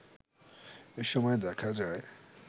এসময় দেখা যায়